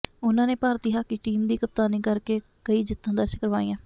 ਉਹਨਾਂ ਨੇ ਭਾਰਤੀ ਹਾਕੀ ਟੀਮ ਦੀ ਕਪਤਾਨੀ ਕਰਕੇ ਕਈ ਜਿੱਤਾਂ ਦਰਜ਼ ਕਰਵਾਈਆਂ